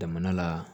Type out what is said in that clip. Jamana la